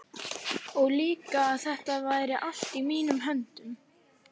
Og líka að þetta væri allt í mínum höndum.